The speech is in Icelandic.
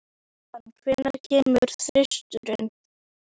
Tristana, hvenær kemur þristurinn?